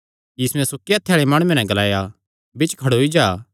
यीशुयैं सुक्के हत्थे आल़े माणुये नैं ग्लाया बिच्च खड़ोई जा